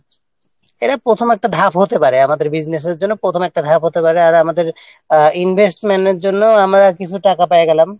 এটা প্রথম একটা ধাপ হতে পারে আমাদের business-র জন্য প্রথম একটা ধাপ হতে পারে আর আমাদের Investment-র জন্য আমরা কিছু টাকাপয়সা জমালাম